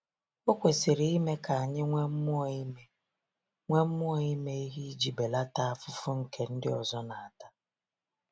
Ọ kwesịrị ime ka anyị nwee mmụọ ime nwee mmụọ ime ihe iji belata afụfụ nke ndị ọzọ na-ata.